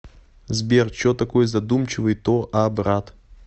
сбер че такой задумчивый то а брат